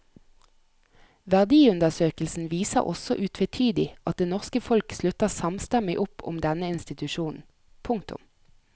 Verdiundersøkelsen viser også utvetydig at det norske folk slutter samstemmig opp om denne institusjonen. punktum